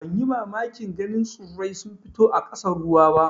Ban yi mamakin ganin tsurrai sun fito a ƙasan ruwa ba.